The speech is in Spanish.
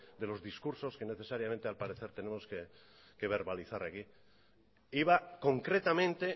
de los discursos que necesariamente al parecer tenemos que verbalizar aquí iba concretamente